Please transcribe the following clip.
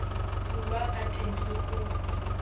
bulwa ka teng le go